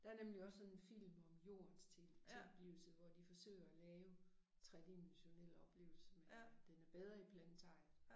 Der nemlig også sådan en film om jordens tilblivelse hvor de forsøger at lave tredimensionel oplevelse men øh den er bedre i Planetariet